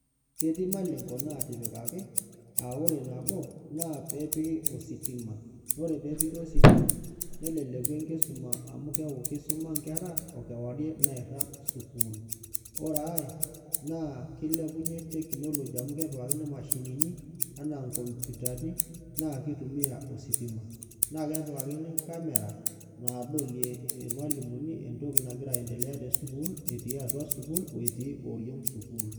Ketii malengo natipikaki aa ore nabo nepiki ositima ore pepiki ositima neleleku enkisuma amu keaku kisuma nkera okewarie nairag Sukul, ore aai na keilepunye technology amu kepikikani mashinini anaa nkomputani na kitumia ositima na kepikakini camera nadolie airmalimuni entoki nagira aendelea tesukul etii atua sukul o etii oriong sukul.